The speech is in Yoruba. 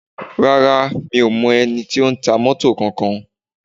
Rárá, mi ò mọ ẹni tí ó ń ta mọ́tọ̀ kànkan.